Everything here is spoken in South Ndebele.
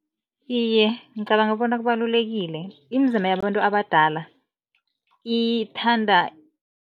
Iye, ngicabanga bona kubalulekile, imizimba yabantu abadala ithanda